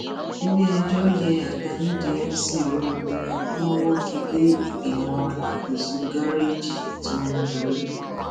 iléẹjọ yẹ àga nídìí mc olomini wọn wọgi lé ìgbìmọ alákòóso gáréèjì tó ń darí